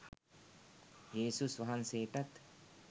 යේසුස් වහන්සේටත්